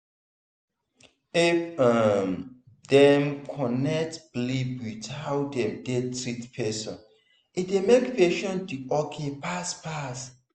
if um dem connect belief with how dem dey treat person e dey make patient dey ok fast fast.